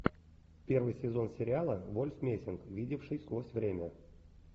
первый сезон сериала вольф мессинг видевший сквозь время